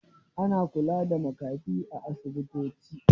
Ana kula da makafi a asibitoci.